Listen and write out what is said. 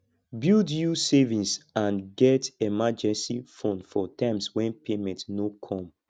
build you savings and get emergency fund for times when payment no come